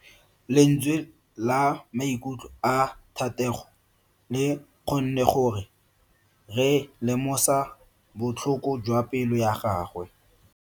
Lentswe la maikutlo a Thatego le kgonne gore re lemosa botlhoko jwa pelo ya gagwe.